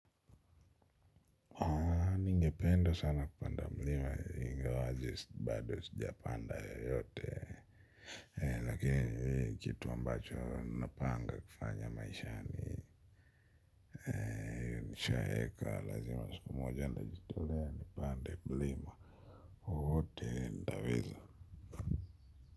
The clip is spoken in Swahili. Ningpenda sana kupanda mlima ingawaje bado sijapanda yote lakini kitu ambacho napanga kufanya maishani. Nishaeka lazima siku moja nitajitolea nipanda mlima wowote nitaweza.